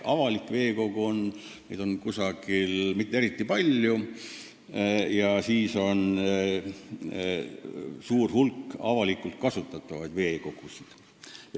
Avalikke veekogusid ei ole mitte eriti palju, aga on suur hulk avalikult kasutatavaid veekogusid.